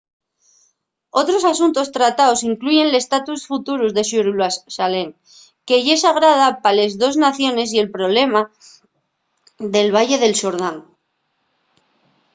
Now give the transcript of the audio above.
otros asuntos trataos incluyen l’estatus futuru de xerusalén que ye sagrada pa les dos naciones y el problema del valle del xordán